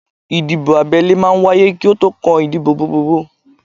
Ìdìbò abẹ́lé máa ń wáyé kí ó tó kan ìdìbò gbogbogbò